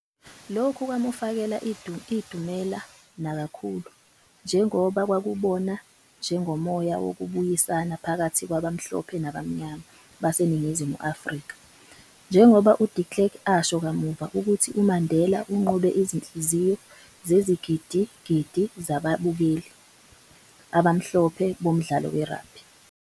Lokhu kwamufakela idumela nakakhulu, njengoba kwakubona njengomoya wokubuyisana phakathi kwabamhlophe nabamnyama baseNingizimu Afrika, njengoba uDe Klerk asho kamuva ukuthi "uMandela unqobe izinhliziyo zezigidi-gidi zababukelli abamhlophe bomdlalo we-rugby."